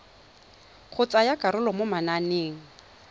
go tsaya karolo mo mananeng